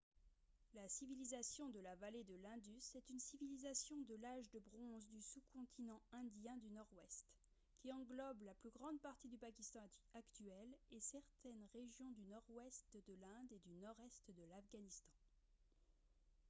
la civilisation de la vallée de l'indus est une civilisation de l'âge de bronze du sous-continent indien du nord-ouest qui englobe la plus grande partie du pakistan actuel et certaines régions du nord-ouest de l'inde et du nord-est de l'afghanistan